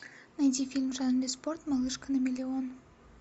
найди фильм в жанре спорт малышка на миллион